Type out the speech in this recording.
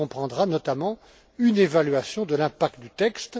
Il comprendra notamment une évaluation de l'impact du texte.